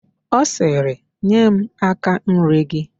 Ọ sịrị, "nye m áká nri gị"!